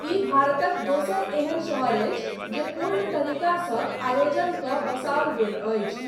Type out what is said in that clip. ई भारतक दोसर एहन शहर अछि जे पूर्ण तरिकासँ आयोजन कऽ बसाओल गेल अछि।